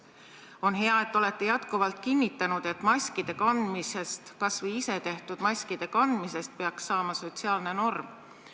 On hea, et olete jätkuvalt kinnitanud, et maskide – kas või isetehtud maskide – kandmisest peaks saama sotsiaalne norm.